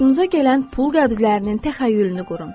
Xoşunuza gələn pul qəbzlərinin təxəyyülünü qurun.